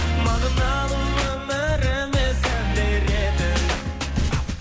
мағыналы өміріме сән беретін